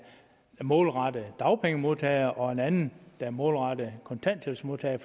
målrettet dagpengemodtagere og en anden der er målrettet kontanthjælpsmodtagere